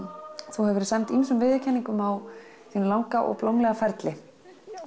þú hefur verið sæmd ýmsum viðurkenningum á þínum langa og blómlega ferli